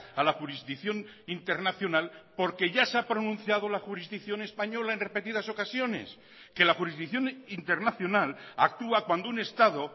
a la jurisdicción internacional porque ya se ha pronunciado la jurisdicción española en repetidas ocasiones que la jurisdicción internacional actúa cuando un estado